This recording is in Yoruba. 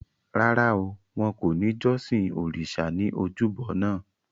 Rárá o, wọn kò ní jọ́sìn òrìṣa ní ojúbo naa